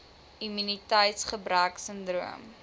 immuniteits gebrek sindroom